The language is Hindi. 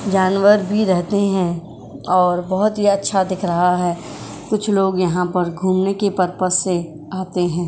जानवर भी रहते हैं और बहोत ही अच्छा दिख रहा है। कुछ लोग यहाँ पर घूमने के पर्पस से आते हैं।